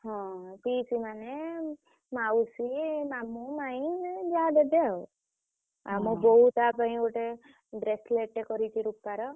ହଁ ପିଇସି ମାନେ ମାଉସୀ